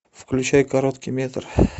включай короткий метр